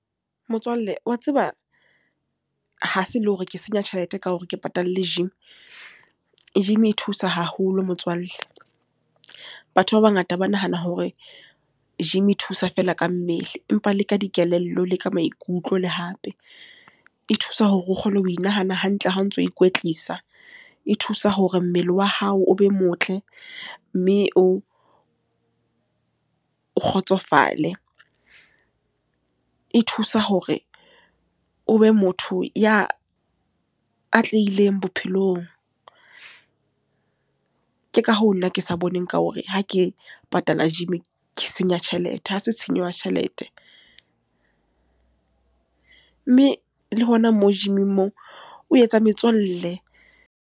Motswalle, wa tseba ha se le hore ke senya tjhelete ka hore ke patalle gym. Gym e thusa haholo motswalle. Batho ba bangata ba nahana hore gym e thusa feela ka mmele. Empa le ka dikelello, le ka maikutlo, le hape e thusa hore o kgone ho inahane hantle ha o ntso ikwetlisa. E thusa hore mmele wa hao o be motle, mme o, o kgotsofale. E thusa hore o be motho ya atlehileng bophelong. Ke ka hoo nna ke sa boneng ka hore ha ke patala gym ke senya tjhelete. Ha se tshenyo ya tjhelete. Mme le hona moo gym-ing moo o etsa metswalle.